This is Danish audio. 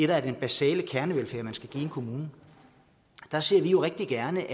der er den basale kernevelfærd som man skal give i en kommune der ser vi jo rigtig gerne